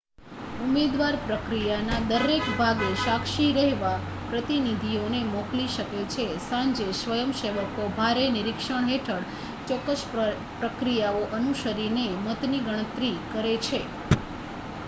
ઉમેદવાર પ્રક્રિયાના દરેક ભાગે સાક્ષી રહેવા પ્રતિનિધિઓને મોકલી શકે છે સાંજે સ્વયંસેવકો ભારે નિરક્ષણ હેઠળ ચોક્કસ પ્રક્રિયાઓ અનુસરીને મતની ગણતરી કરે છે